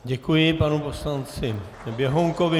Děkuji panu poslanci Běhounkovi.